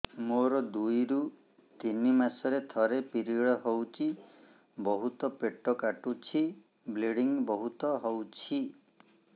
ମୋର ଦୁଇରୁ ତିନି ମାସରେ ଥରେ ପିରିଅଡ଼ ହଉଛି ବହୁତ ପେଟ କାଟୁଛି ବ୍ଲିଡ଼ିଙ୍ଗ ବହୁତ ହଉଛି